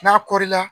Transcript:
N'a kɔri la